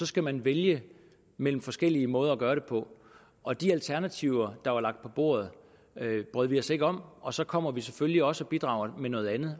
skal man vælge mellem forskellige måder at gøre det på og de alternativer der var lagt på bordet brød vi os ikke om og så kommer vi selvfølgelig også og bidrager med noget andet